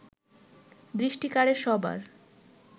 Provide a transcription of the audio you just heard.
দৃষ্টি কাড়ে সবার